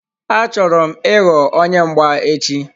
Achọrọ m ịghọ onye mgba echi.